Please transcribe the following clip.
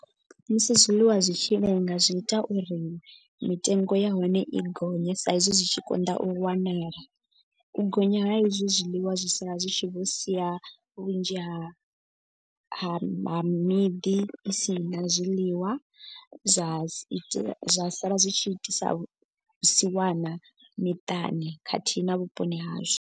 Musi zwiḽiwa zwi tshi lenga zwi ita uri mitengo ya hone i gonye sa izwi zwi tshi konḓa u wanala. U gonya ha ezwi zwiḽiwa zwi sala zwi tshi vho sia vhunzhi havho ha ha miḓi i si na zwiḽiwa. Zwa sala zwi tshi itisa siwana miṱani khathihi na vhuponi hashu.